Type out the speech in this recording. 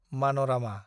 मानरामा